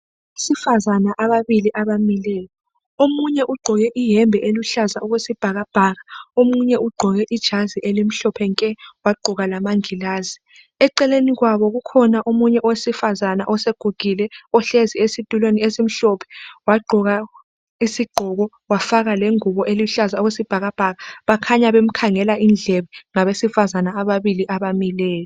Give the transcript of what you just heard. Abesifazane ababili abamileyo. Omunye ugqoke iyembe eluhlaza okwesibhakabhaka, omunye ugqoke ijazi elimhlophe nke wagqoka lamangilazi. Eceleni kwabo kukhona omunye owesifazane osegugile ohlezi esitulweni esimhlophe wagqoka isigqoko wafaka lengubo eluhlaza okwesibhakabhaka. Bakhanya bemkhangela indlebe ngabesifazane ababili abamileyo.